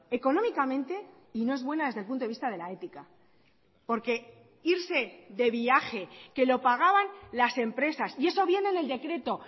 económicamente y no es buena desde el punto de vista de la ética porque irse de viaje que lo pagaban las empresas y eso viene en el decreto